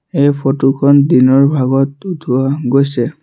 এই ফটো খন দিনৰ ভাগত উঠোৱা গৈছে।